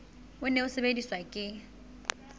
o ne o sebediswa ke